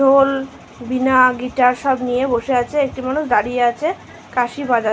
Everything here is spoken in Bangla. ঢোল বীণা গিটার সবকিছু নিয়ে বসে আছে একটি মানুষ দাঁড়িয়ে আছে বাঁশি বাজা--